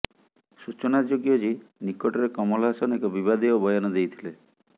ସୂଚନାଯୋଗ୍ୟ ଯେ ନିକଟରେ କମଲ ହାସନ ଏକ ବିବାଦୀୟ ବୟାନ ଦେଇଥିଲେ